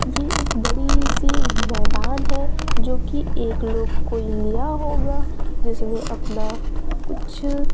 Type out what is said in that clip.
ये एक बड़ी सी मैदान है जो कि एक लोग कोई लिया होगा जिसमें अपना कुछ--